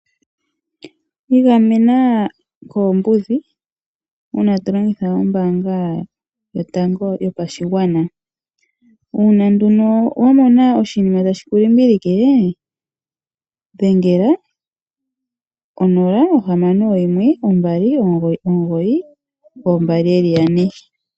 Igamena koombudhi uuna to longitha ombanga yotango yopashigwana uuna wa mona oshinima tashi kulimbilike dhengela 0612992222.